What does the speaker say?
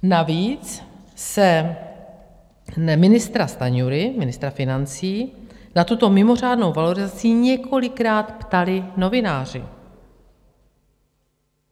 Navíc se ministra Stanjury, ministra financí, na tuto mimořádnou valorizací několikrát ptali novináři.